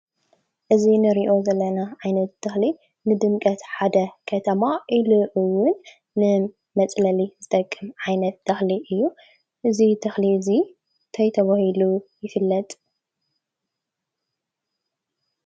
እዚ እንሪኦ ዘለና ዓይነት ተክሊ ንድምቀት ሓደ ከተማ ኢሉ እዉን ንመፅለሊ ዝከውን ዓይነት ተክሊ እዩ፡፡ እዚ ተክሊ እዚ እንታይ ተባሂሉ ይፍለጥ?